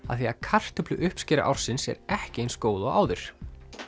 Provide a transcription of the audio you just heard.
af því að kartöfluuppskera ársins er ekki eins góð og áður